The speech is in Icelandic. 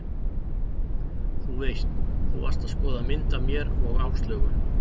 Þú veist. þú varst að skoða mynd af mér og Áslaugu.